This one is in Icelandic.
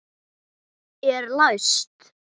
Er læst?